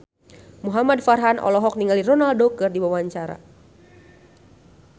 Muhamad Farhan olohok ningali Ronaldo keur diwawancara